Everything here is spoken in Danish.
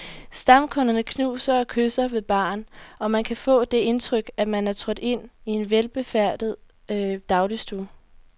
Stamkunderne knuser og kysser ved baren, og man kan få det indtryk, at man er trådt ind i en velbefærdet dagligstue.